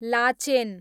Lachen